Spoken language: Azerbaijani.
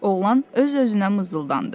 Oğlan öz-özünə mızıldandı.